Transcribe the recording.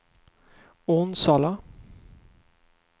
Onsala